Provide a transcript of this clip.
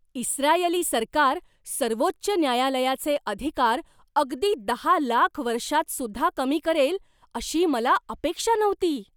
इस्त्रायली सरकार सर्वोच्च न्यायालयाचे अधिकार अगदी दहा लाख वर्षांतसुद्धा कमी करेल अशी मला अपेक्षा नव्हती.